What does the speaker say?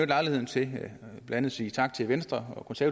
lejligheden til blandt andet at sige tak til venstre og til